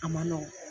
A ma nɔgɔn